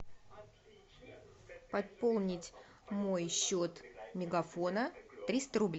пополнить мой счет мегафона триста рублей